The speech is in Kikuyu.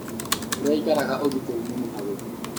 Kũria aĩkaraga ũgĩtĩrĩ nĩ mũhagũku